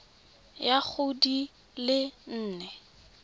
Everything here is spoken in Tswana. ya go di le nne